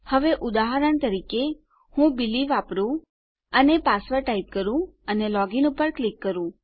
હવે ઉદાહરણ તરીકે ચાલો હું બિલી વાપરું અને પાસવર્ડ ટાઈપ કરું અને લોગિન પર ક્લિક કરું